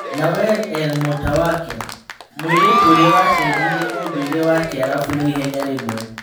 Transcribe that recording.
Nawer Er Mũtawake, mũirĩtu ũrĩa wacenjirie ũndũire wa Kĩarabu na ihenya rĩmwe.